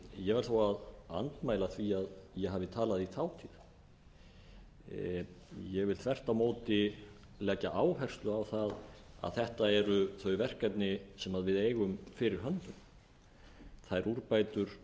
ég verð þó að andmæla því að ég hafi talað í þátíð ég vil þvert á móti leggja áherslu á það að þetta eru þau verkefni sem við eigum fyrir höndum þær úrbætur